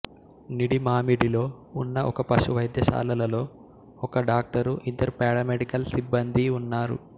నిడిమామిడిలో ఉన్న ఒక పశు వైద్యశాలలో ఒక డాక్టరు ఇద్దరు పారామెడికల్ సిబ్బందీ ఉన్నారు